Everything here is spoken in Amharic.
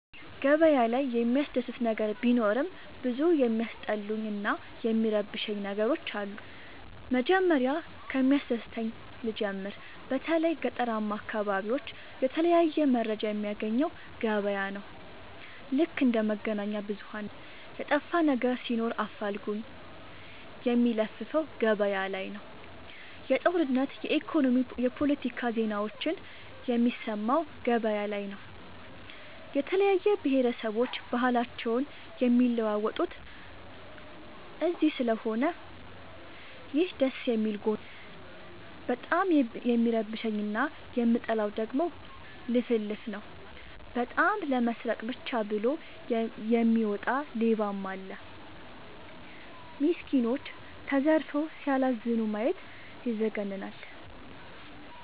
ገበያ ላይ የሚያስደስ ነገር ቢኖርም ብዙ የሚያስጠሉኝ እና የሚረብሸኝ ነገሮች አሉ። መጀመሪያ ከሚያስደስተኝ ልጀምር በተለይ ገጠራማ አካቢዎች የተለያየ መረጃ የሚያገኘው ገበያ ነው። ልክ እንደ መገናኛብዙኋን ነው የጠፋነገር ሲኖር አፋልጉኝ የሚለፍፈው ገበያላይ ነው። የጦርነት የኢኮኖሚ የፓለቲካ ዜናዎችን የሚሰማው ገበያ ላይ ነው። የተለያየ ብሆረሰቦች ባህልአቸውን የሚለዋወጡት እዚስለሆነ ይህ ደስየሚል ጎኑ ነው። በጣም የሚረብሸኝ እና የምጠላው ደግሞ ልፍልፍ ነው። በጣም ለመስረቃ ብቻ ብሎ የሚወጣ ሌባም አለ። ሚስኩኖች ተዘርፈው ሲያላዝኑ ማየት ይዘገንናል።